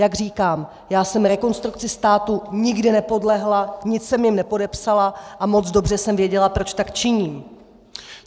Jak říkám, já jsem Rekonstrukci státu nikdy nepodlehla, nic jsme jim nepodepsala a moc dobře jsem věděla, proč tak činím.